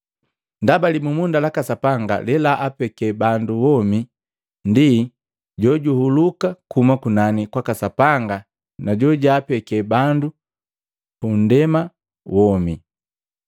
Ndaba libumunda laka Sapanga lelaapeke bandu womi ndi jojuhuluka kuhuma kunani kwaka Sapanga na jojaapeke bandu bupunndema womi.”